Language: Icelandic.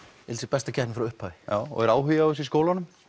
besta keppni frá upphafi já og er áhugi á þessu í skólanum